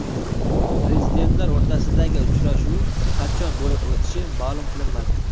Prezidentlar o‘rtasidagi uchrashuv qachon bo‘lib o‘tishi ma’lum qilinmadi.